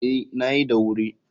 Ee, na yi da wuri.